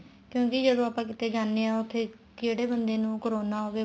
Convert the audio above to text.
ਕਹਿੰਦੇ ਜਦੋਂ ਆਪਾਂ ਕਿਤੇ ਜਾਂਦੇ ਹਾਂ ਉੱਥੇ ਕਹਿੜੇ ਬੰਦੇ ਨੂੰ corona ਹੋਵੇ